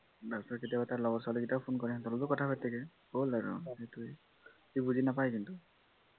তাৰপাছত তাৰ লগৰ ছোৱীকেইটাও phone কৰে সিহতঁৰ লগতো কথা পাতে হল আৰু সেইটোৱে বুজি নাপায় কিন্তু